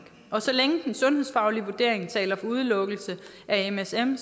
og så længe den sundhedsfaglige vurdering taler for udelukkelse af msm